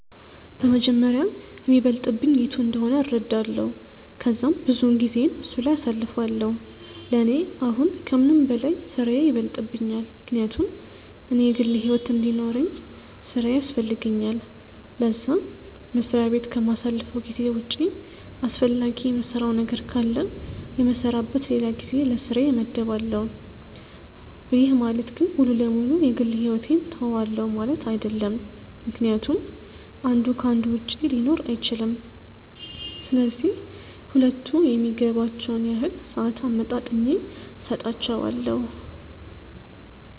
በመጀመሪያ የሚበልጥብኝ የቱ እንደሆነ እረዳለው ከዛም ብዙውን ጊዜየን እሱ ላይ አሳልፋለው፤ ለኔ አሁን ከምንም በላይ ስራዬ ይበልጥብኛል ምክንያቱም እኔ የግል ሕይወት እንዲኖርውኝ ስራዬ ያስፈልገኛል ለዛ፤ መስሪያ በት ከማሳልፈው ጊዜ ውጪ አስፈላጊ የምሰራው ነገር ካለ የምሰራበት ለላ ጊዜ ለስራዬ መድባለው፤ ይህ ማለት ግን ሙሉ ለ ሙሉ የ ግል ሕይወቴን ትውዋለው ማለት አይድለም ምክንያቱም አንዱ ከ አንዱ ውጪ ሊኖር አይችልም፤ ስለዚህ ሁለቱም የሚገባቸውን ያህል ሰአት አመጣጥኜ ሰጣቸዋለው።